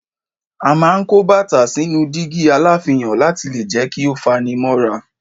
A máa ń kó bàtà sínú dígí aláfihàn láti lè jẹ́ kí ó fani mọ́ra.